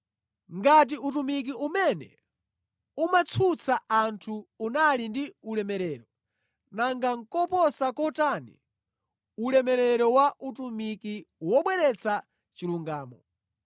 Ngati utumiki umene umatsutsa anthu unali ndi ulemerero, nanga koposa kotani ulemerero wa utumiki wobweretsa chilungamo!